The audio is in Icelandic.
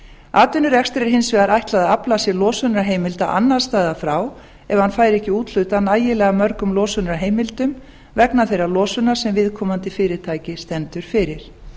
atvinnurekstri er hins vegar ætlað að afla sér losunarheimilda annars staðar frá ef hann fær ekki úthlutað nægilega mörgum losunarheimildum vegna þeirrar losunar sem viðkomandi fyrirtæki stendur fyrir